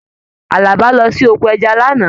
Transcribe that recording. Àlàbá lọ sí oko ẹja l'ana